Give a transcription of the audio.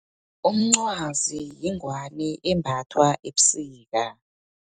Umncwazi, yingwani embathwa ebusika.